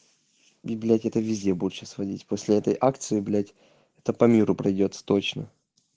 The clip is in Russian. библиотека везде больше сводить после этой акции блять это по миру пойдёт с точно